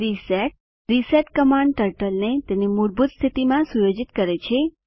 reset reset command ટર્ટલને તેની મૂળભૂત સ્થિતિમાં સુયોજિત કરે છે